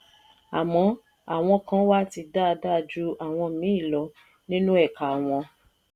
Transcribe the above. àmọ́ àwọn kan wà tí dáadáa ju àwọn míì lọ nínú ẹ̀ka wọn.